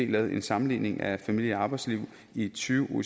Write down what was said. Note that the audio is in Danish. lavet en sammenligning af familie og arbejdsliv i tyve